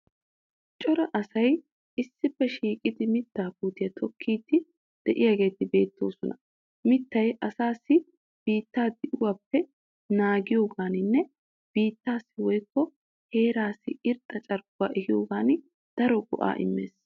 Cora asayi issippe shiiqidi mittaa puutiya tokkiiddi de'iyageeti beettoosona. Mittayi asaassi biittaa di'uwappe naagiyogaaninne biittaassi woyikko heeraassi irxxa carkkuwa ehiyogan daro go'aa immees.